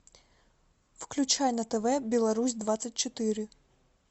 включай на тв беларусь двадцать четыре